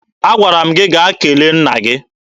Agwara gị gaa kele nna gị!